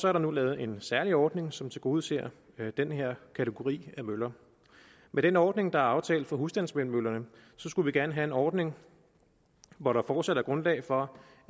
er der nu lavet en særlig ordning som tilgodeser den her kategori af møller med den ordning der er aftalt for husstandsvindmøllerne skulle vi gerne have en ordning hvor der fortsat er grundlag for